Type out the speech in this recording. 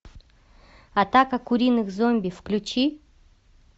атака куриных зомби включи